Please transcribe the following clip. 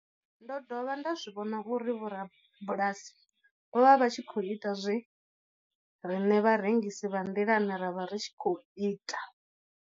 Ndo dovha nda zwi vhona uri vhorabulasi vho vha vha tshi khou ita zwe riṋe vharengisi vha nḓilani ra vha ri tshi khou ita.